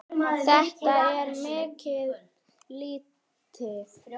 Þetta er mikið lýti.